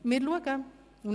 Wir werden sehen.